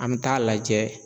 An bɛ taa'a lajɛ